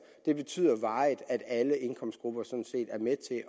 betyder varigt at alle indkomstgrupper sådan set er med til at